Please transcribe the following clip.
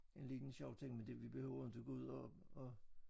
En liden sjov ting men det vi behøver inte gå ud og og